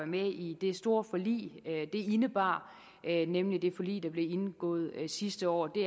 med i det store forlig det indebar nemlig det forlig der blev indgået sidste år det